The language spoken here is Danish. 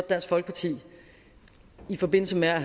dansk folkeparti i forbindelse med at